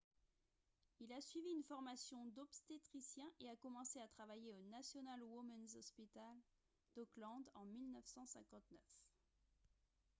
il a suivi une formation d'obstétricien et a commencé à travailler au national women's hospital d'auckland en 1959